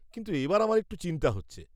কিন্তু এবার আমার একটু চিন্তা হচ্ছে।